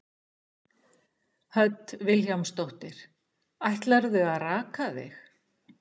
Hödd Vilhjálmsdóttir: Ætlarðu að raka þig?